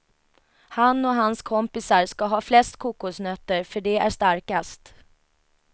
Han och hans kompisar ska ha flest kokosnötter för de är starkast.